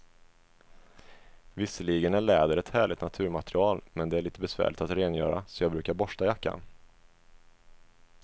Visserligen är läder ett härligt naturmaterial, men det är lite besvärligt att rengöra, så jag brukar borsta jackan.